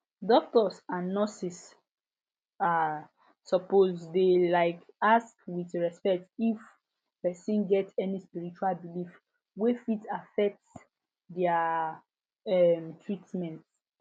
doctors and nurses um suppose dey um ask with respect if person get any spiritual belief wey fit affect their um treatment